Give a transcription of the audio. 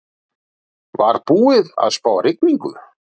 Var búið að spá rigningu?